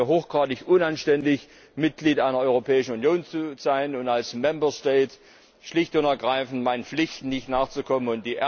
Ich halte es für hochgradig unanständig, Mitglied einer Europäischen Union zu sein und als schlicht und ergreifend meinen Pflichten nicht nachzukommen.